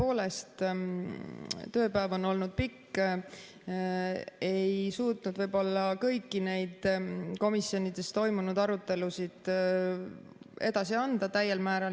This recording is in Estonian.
Tõepoolest, tööpäev on olnud pikk, ma ei suutnud võib-olla kõiki neid komisjonides toimunud arutelusid edasi anda täiel määral.